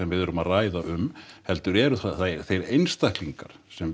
við erum að ræða um heldur eru það þeir einstaklingar sem